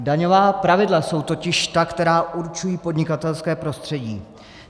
Daňová pravidla jsou totiž ta, která určují podnikatelské prostředí.